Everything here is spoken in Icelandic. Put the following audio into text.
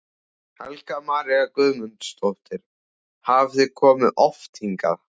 Helga María Guðmundsdóttir: Hafið þið komið oft hingað?